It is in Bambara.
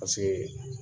Paseke